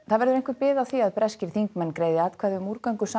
það verður einhver bið á því að breskir þingmenn greiði atkvæði um